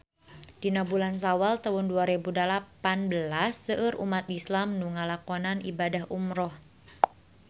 Dina bulan Sawal taun dua rebu dalapan belas seueur umat islam nu ngalakonan ibadah umrah